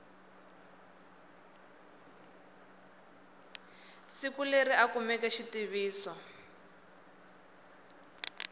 siku leri a kumeke xitiviso